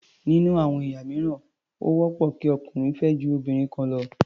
Nínú àwọn ẹ̀yà mìíràn, ó wọ́pọ̀ kí ọkùnrin fẹ́ ju obìnrin kan lọ.